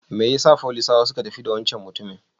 Mai yasa folisawa suka tafi wancan mutumin?